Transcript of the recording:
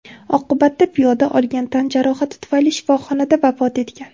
Oqibatda piyoda olgan tan jarohati tufayli shifoxonada vafot etgan.